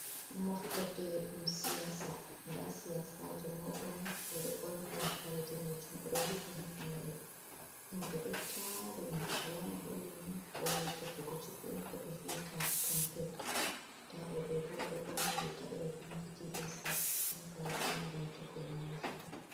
Moftorde ɗum siyasa, dan siyasajo mado mai oɗo borni kare danejum odo hifni hifnere, himɓe ɗo tari mo alama holli ni o wari tefugo cubion on kobe viyeta campen, nda oɗo ɓo oɗo borni riga ɓeɗo vindi dss, boka hokuma rentoku’e nannufata.